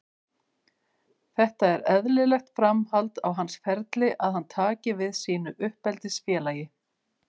Þetta er eðlilegt framhald á hans ferli að hann taki við sínu uppeldisfélagi.